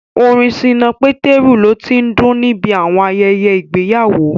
Orin Ṣínà Pétérù lo tí ń dún níbi àwọn ayẹyẹ ìgbéyàwó